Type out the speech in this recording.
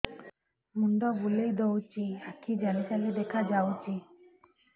ମୁଣ୍ଡ ବୁଲେଇ ଦଉଚି ଆଖି ଜାଲି ଜାଲି ଦେଖା ଯାଉଚି